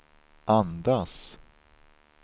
andas